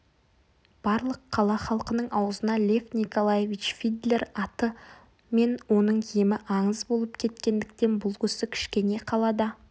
барлық қала халқының аузына лев николаевич фидлер аты мен оның емі аңыз болып кеткендіктен бұл кісі кішкене қалада